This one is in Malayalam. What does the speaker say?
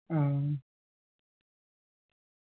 ആ